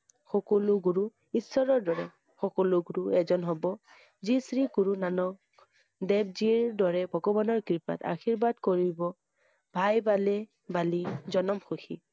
সকলো গুৰু ঈশ্বৰৰ দৰে । সকলো গুৰু এজন হব শ্ৰী শ্ৰী গুৰু নানক~দেৱ জীৰ দৰে ভগবানৰ কৃপাত আশীৰ্বাদ কৰিব ভাই বালি~বালি জনম সুখী